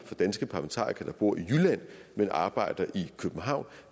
danske parlamentarikere der bor i jylland men arbejder i københavn